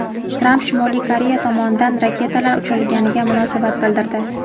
Tramp Shimoliy Koreya tomonidan raketalar uchirilganiga munosabat bildirdi.